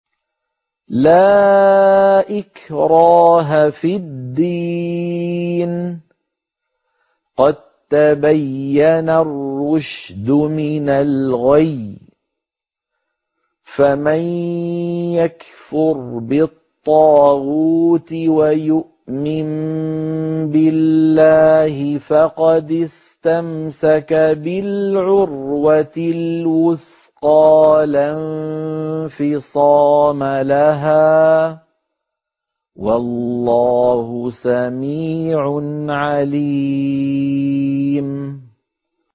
لَا إِكْرَاهَ فِي الدِّينِ ۖ قَد تَّبَيَّنَ الرُّشْدُ مِنَ الْغَيِّ ۚ فَمَن يَكْفُرْ بِالطَّاغُوتِ وَيُؤْمِن بِاللَّهِ فَقَدِ اسْتَمْسَكَ بِالْعُرْوَةِ الْوُثْقَىٰ لَا انفِصَامَ لَهَا ۗ وَاللَّهُ سَمِيعٌ عَلِيمٌ